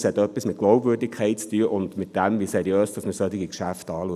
Es hat etwas mit Glaubwürdigkeit zu tun und damit, wie seriös wir solche Geschäfte anschauen.